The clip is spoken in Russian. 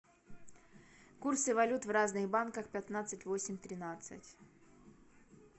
курсы валют в разных банках пятнадцать восемь тринадцать